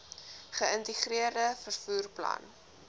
geïntegreerde vervoer plan